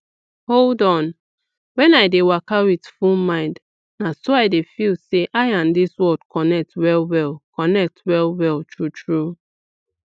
hold on when i dey waka with full mind na so i dey feel say i and dis world connect wellwell connect wellwell true true